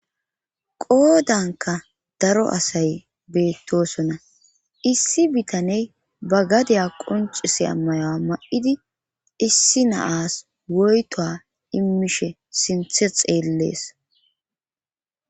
Qoodanka daro asay beettosona issi bitaney ba gadeya qoncis ammayoa ma7idi issi naas woyto immishe sinthe xeellees.